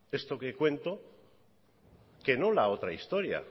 esto que cuento que no la otra historia